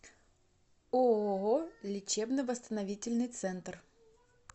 ооо лечебно восстановительный центр